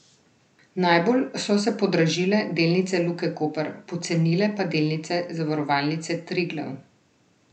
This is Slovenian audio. Najbolj so se podražile delnice Luke Koper, pocenile pa delnice Zavarovalnice Triglav.